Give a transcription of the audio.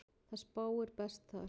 Það spáir best þar.